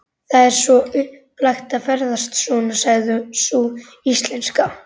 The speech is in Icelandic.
Það er svo upplagt að ferðast svona, sagði sú íslenska.